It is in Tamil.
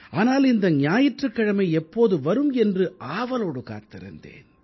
ஆனால் இந்த ஞாயிற்றுக் கிழமை எப்போது வரும் என்று ஆவலோடு காத்திருந்தேன்